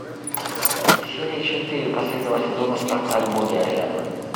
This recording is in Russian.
серия четыре последнего сезона спартак боги арены